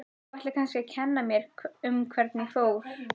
Þú ætlar kannski að kenna mér um hvernig fór.